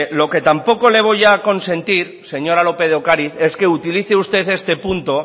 lo que tampoco le voy a consentir señora lópez de ocariz es que utilice usted este punto